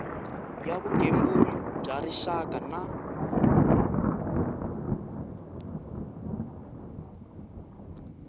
ya vugembuli bya rixaka na